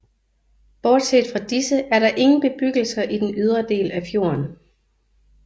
Bortset fra disse er der ingen bebyggelser i den ydre del af fjorden